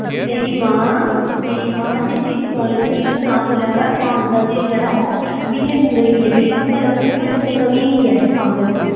ਮੇਰੀ ਮਾਂ ਮੇਰੀ ਮਾਂ ਜਿਸ ਚੀਜ਼ ਦੀ knowledge ਨੀ ਹੁੰਦੀ ਉਹ ਨਾ ਬੋਲਿਆ ਕਰ ਮਾਨਸਾ ਝੀਲ ਜਿਹੜਾ ਉਹ ਵਿਜੈਪੁਰਾ ਹੀ ਆ ਜਿਹੜੀ ਤੂੰ ਗੱਲ ਕਰਦੀ ਪਈ ਆਂ ਉਹ ਜੰਮੂ ਤਵੀ ਹੈਗੀ ਹੈ, ਪਾਗਲ।